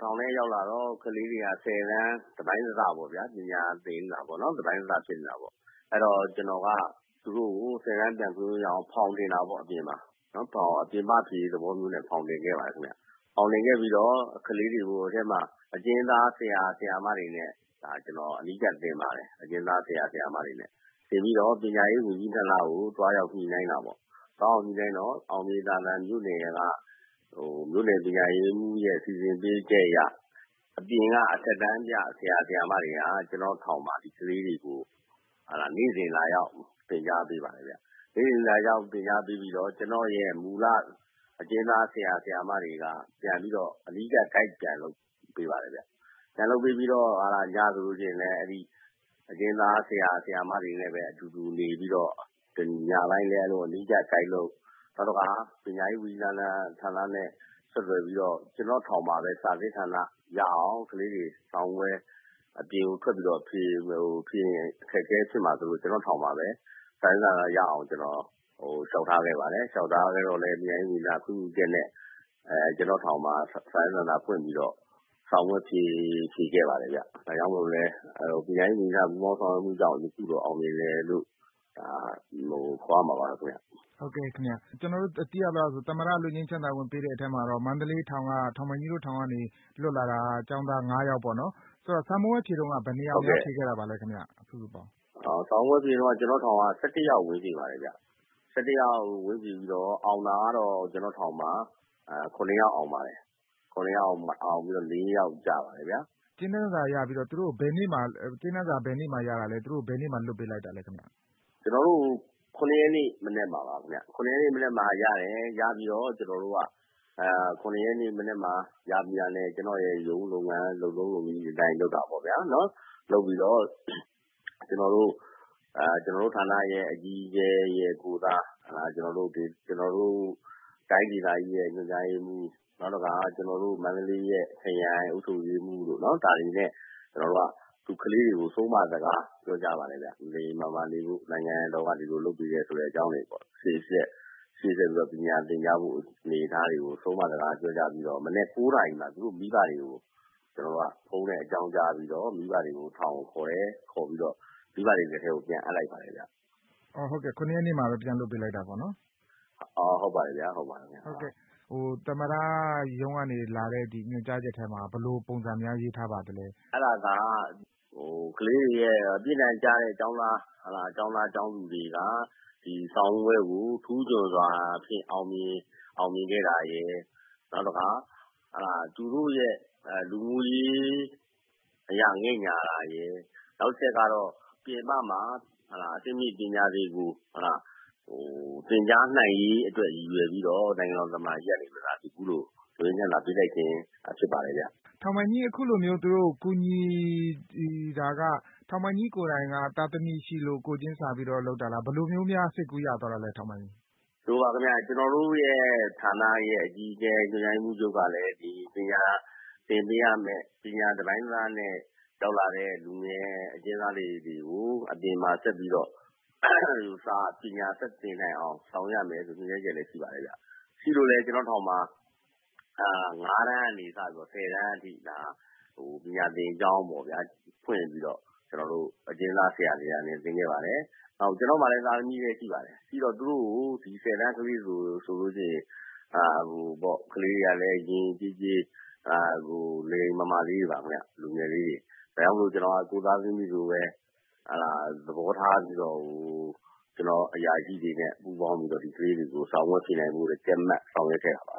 ထောင်ထဲရောက်လာတော့ ကလေးတွေက ၁၀ တန်း တပိုင်းတစပေါ့ဗျာ။ ပညာသင်ယူတာ တပိုင်းတစ ဖြစ်နေတာပေါ့။ အဲတော့ ကျနော်က သူတို့ကို ၁၀ တန်း ပြန်ဖြေလို့ရအောင် ဖေါင်တင်တာပေါ့ အပြင်မှာ။ ပြင်ပဖြေ သဘောမျိုးနဲ့ ဖေါင်တင်ခဲ့ပါတယ် ခင်ဗျ။ ဖေါင်တင်ခဲ့ပြီးတော့ ကလေးတွေကို အထဲမှာ အကျဉ်းသား ဆရာ၊ ဆရာမတွေနဲ့ ဒါ ကျနော် အနီးကပ် သင်ပါတယ်။ အကျဉ်းသား ဆရာဆရာမတွေနဲ့။ သင်ပြီးတော့ ပညာရေးဝန်ကြီးဌာနကို သွားရောက် ညှိနှိုင်းတာပေါ့။ သွားရောက် ညှိနှိုင်းတော့ အောင်မြေသာဇံမြို့နယ်က မြို့နယ်ပညာရေးမှုးရဲ့စီစဉ်ပေးချက်အရ အပြင်က အထက်တန်းပြ ဆရာ၊ ဆရာမတွေက ကျနော့်ထောင်မှာ ဒီကလေးတွေကို နေ့စဉ်လာရောက် သင်ကြားပေးပါတယ်ဗျ။ နေ့စဉ် လာရောက်သင်ကြားပေးပြီးတော့ ကျနော့ရဲ့မူလ အကျဉ်းသား ဆရာဆရာမတွေက ပြန်ပြီးတော့ အနီးကပ် ဂိုက် ပြန်လုပ်ပေးပါတယ်ဗျ။ ပြန်လုပ်ပေးပြီးတော့ ညဆိုလို့ရှိရင်လည်း အဲဒီ အကျဉ်းသား ဆရာဆရာမတွေနဲ့ပဲ အတူတူ နေပြီးတော့ ညတိုင်းလည်း အနီးကပ်ဂိုက်လုပ်၊ နောက်တခါ ပညာရေးဝန်ကြီးဌာနနဲ့ ဆက်သွယ်ပြီးတော့ ကျနော့်ထောင်မှာပဲ စာစစ်ဌာနရအောင် ကလေးတွေ အပြင်ထွက်ပြီးတော့ ဖြေရင် အခက်အခဲ ဖြစ်မှာစိုးလို့ ကျနော့ထောင်မှာပဲ စာစစ်ဌာနရအောင် လျှောက်ထားခဲ့ပါတယ်။ လျှောက်ထားခဲ့တော့လည်း ပညာရေးဌာန ခွင့်ပြုချက်နဲ့ ကျနော့်ထောင်မှာ စာစစ်ဌာနဖွင့်ပြီးတော့ စာမေးပွဲ ဖြေခဲ့ပါတယ်ဗျ။ ဒါကြောင့်မို့လို့လည်း ပညာရေးဝန်ကြီးဌာနရဲ့ပူးပေါင်းဆောင်ရွက်မှုကြောင့် အခုလို အောင်မြင်တယ်လို့ ဒီလို ခေါ်ရမှာပါခင်ဗျ။ ဟုတ်ကဲ့ခင်ဗျ။ ကျနော်တို့ သိရသလောက်ဆို သမ္မတ လွတ်ငြိမ်းချမ်းသာခွင့် ပေးတဲ့အထဲမှာတော့ မန္တလေးထောင်၊ ထောင်ပိုင်ကြီးတို့ထောင်ကနေ လွတ်လာတာ ကျောင်းသား ၅ ယောက်ပေါ့နော်။ ဆိုတော့ စာမေးပွဲဖြေတုန်းက ဘယ်နှစ်ယောက် ဖြေခဲ့တာပါလည်းခင်ဗျ။ စုစုပေါင်း။ စာမေးပွဲ ဖြေတုန်းက ကျနော့ထောင်က ၁၁ ယောက် ဝင်ဖြေပါတယ်ခင်ဗျ။ ၁၁ ယောက် ဝင်ဖြေပြီးတော့မှ အောင်တာကတော့ ကျနော့်ထောင်မှာ ၇ ယောက် အောင်ပါတယ်။ ၇ ယောက်အောင်ပြီးတော့ ၄ ယောက် ကျပါတယ်ခင်ဗျာ။ ကြေးနန်းစာ ဘယ်နေ့မှာရတာလဲ။ သူတို့ကို ဘယ်နေ့မှာ လွှတ်ပေးလိုက်တာလဲ ခင်ဗျ။ ကျနော်တို့ ၇ ရက်နေ့မနက်မှာပါခင်ဗျ။ ၇ ရက်နေ့မနက်မှာ ရတယ်။ ရပြီးတော့ ကျနော်တို့က ၇ ရက်နေ့ မနက်မှာ ရပြီးတာနဲ့ ကျနော့်ရဲ့ရုံးလုပ်ငန်း လုပ်ထုံးလုပ်နည်း အတိုင်း လုပ်တာပေါ့ဗျာနော်။ လုပ်ပြီးတော့ ကျနော်တို့ဌာနရဲ့ အကြီးအကဲရဲ့ ကိုယ်စား ကျနော်တို့ တိုင်းဒေသကြီးရဲ့ညွှန်ကြားရေးမှုး၊ နောက်တခါ ကျနော်တို့ မန္တလေးရဲ့ ခရိုင် အုပ်ချုပ်ရေးမှုးတို့ ဒါတွေနဲ့ ကျနော်တို့က ကလေးတွေကို ဆုံးမစကား ပြောကြားပါတယ်ဗျ။ လိမ်လိမ်မာမာနေဖို့။ နိုင်ငံတော်က ဒီလိုလုပ်ပေးတယ် ဆိုတဲ့ အကြောင်းတွေပေါ့။ ရှေ့ဆက် ပညာသင်ကြားဖို့ အနေအထားတွေကို ဆုံးမစကားပြောကြား ပြီးတဲ့နောက် မနက် ၉ နာရီမှာ သူတို့ မိဘတွေကို ကျနော်တို့က ဖုန်းနဲ့ အကြောင်းကြားပြီးတော့ မိဘတွေကို ထောင်ကိုခေါ်တယ်။ ခေါ်ပြီးတော့ မိဘတွေလက်ထဲကို ပြန်အပ်လိုက်ပါတယ်ဗျ။ အော်ဟုတ်ကဲ့။ ၇ ရက်နေ့မှာပဲ ပြန်လွှတ်ပေးလိုက်တာပေါ့နော်။ အော် ဟုတ်ပါတယ်ခင်ဗျာ။ ဟုတ်ပါတယ်။ သမ္မတရုံးက လာတဲ့ ညွှန်ကြားချက်ထဲမှာ ဘယ်လိုပုံစံများ ရေးထားပါသလဲ။ အဲဒါက ကလေးတွေရဲ့ပြစ်ဒဏ်ကျတဲ့ ကျောင်းသား၊ ကျောင်းသူတွေက ဒီ စာမေးပွဲကို ထူးချွန်စွာနဲ့ အောင်မြင်ခဲ့တာရယ်၊ နောက်တခါ ဟုတ်လား၊ သူတို့ရဲ့ လူမှုရေး အရ ငဲ့ညှာတာရယ်၊ နောက်တချက်ကတော့ ပြင်ပမှာ အဆင့်မြင့် ပညာတွေကို သင်ကြားနိုင်ရေးအတွက် ရည်ရွယ်ပြီးတော့ နိုင်ငံတော် သမ္မတကြီးကနေ အခုလို လွတ်ငြိမ်းချမ်းသာ ပေးလိုက်ခြင်း ဖြစ်ပါတယ်ဗျ။ ထောင်ပိုင်ကြီး သူတို့ အခုလိုမျိုး ကူညီ တာက ထောင်ပိုင်ကြီးကိုယ်တိုင်က သားသမီး ရှိလို့ ကိုယ်ချင်းစာပြီး ကူညီတာလား။ ဘယ်လိုမျိုးများ စိတ်ကူးရသွားတာလဲ ထောင်ပိုင်ကြီး။ ဒီလိုပါခင်ဗျ။ ကျနော်တို့ရဲ့ ဌာနရဲ့အကြီးအကဲ ညွှန်ကြားရေးမှုးချုပ်က လည်း ဒီပညာသင်ပေးရမယ့် ပညာ တပိုင်းတစနဲ့ ရောက်လာတဲ့ လူငယ် အကျဉ်းသားလေးတွေကို အပြင်မှာ ဆက်ပြီးတော့ ပညာဆက်သင်နိုင်အောင် ဆောင်ရွက်ရမယ်ဆိုတဲ့ ညွှန်ကြားချက်လည်း ရှိပါတယ်ခင်ဗျ။ ရှိလို့လည်း ကျနော့်ထောင်မှာ ၅ တန်းကနေ စပြီးတော့ ၁၀ တန်းအထိ ဒါ ပညာသင်ကျောင်းပေါ့ဗျာ ဖွင့်ပြီးတော့ အကျဉ်းသား ဆရာတွေနဲ့ သင်ခဲ့ပါတယ်။ နောက် ကျနော့်မှာလည်း သားသမီးလည်း ရှိပါတယ်။ ရှိတော့ သူတို့ကို ဒီ ၁၀ တန်း ကလေးတွေ ဆိုလို့ရှိရင် ကလေးတွေကလည်း ယဉ်ယဉ်ကျေးကျေး လိမ်လိမ်မာမာလေးတွေ ပါခင်ဗျ။ လူငယ်လေးတွေ။ ဒါကြောင့်မို့လို့လည်း ကိုယ့်သားသမီးတွေလို ဟုတ်လား သဘောထားပြီးတော့ ကျနော့် အရာရှိတွေနဲ့ ပူးပေါင်းပြီးတော့ ဒီကလေးတွေကို စာမေးပွဲ ဖြေနိုင်ဖို့အတွက် ကြပ်မတ် ဆောင်ရွက်ခဲ့တာပါ